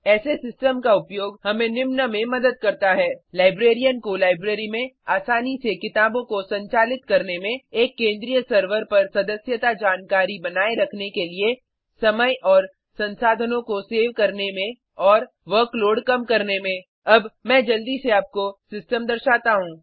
ऐसे सिस्टम का उपयोग हमें निम्न में मदद करता है लाइब्रेरियन को लाइब्रेरी में आसानी से किताबों को संचालित करने में एक केन्द्रीय सर्वर पर सदस्यता जानकारी बनाए रखने के लिए समय और संसाधनों को सेव करने में और वर्कलोड कम करने में अब मैं जल्दी से आपको सिस्टम दर्शाता हूँ